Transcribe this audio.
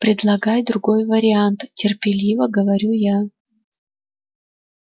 предлагай другой вариант терпеливо говорю я